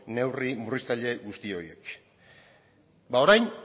neurri murriztaile guzti horiek ba orain